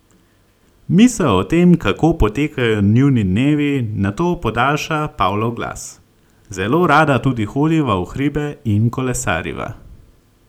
Misel o tem, kako potekajo njuni dnevi, nato podaljša Pavlov glas: "Zelo rada tudi hodiva v hribe in kolesariva.